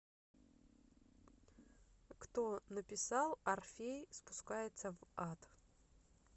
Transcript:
кто написал орфей спускается в ад